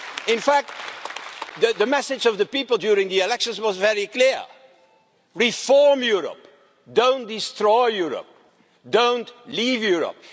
In fact, the message of the people during the elections was very clear reform Europe, don't destroy Europe, don't leave Europe.